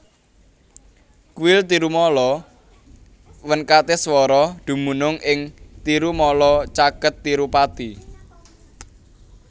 Kuil Tirumala Venkateswara dumunung ing Tirumala caket Tirupati